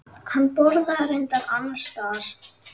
Hann borðaði reyndar annars staðar.